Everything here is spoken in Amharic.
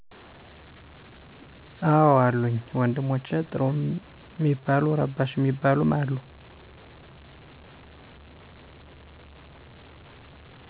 አዎ አሉኝ፣ ወንድሞቸ ጥሩም ሚባሉ ረባሽ ሚባሉም አሉ።